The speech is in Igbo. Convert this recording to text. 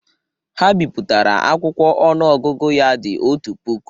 Ha bipụtara akwụkwọ ọnụọgụgụ ya dị otú puku